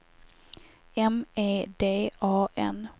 M E D A N